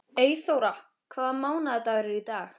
Eyþóra, hvaða mánaðardagur er í dag?